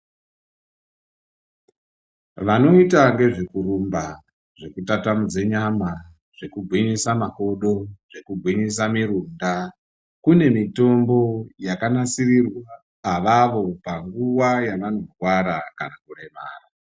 Vanoita nezvekurumba, zvekutatamudze nyama, zvekugwinyisa makodo, zvekugwinyisa murunda kune mitombo yakanasirirwa avavo panguwa yavanorwara kana kuremara.